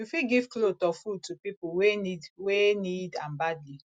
you fit give cloth or food to pipo wey need wey need am badly